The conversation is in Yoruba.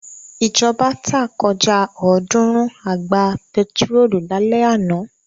Ìjọba tá kọjá ọ̀ọ́dúnrún àgbá pẹtírólù lálẹ́ àná.